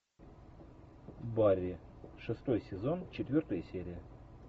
барри шестой сезон четвертая серия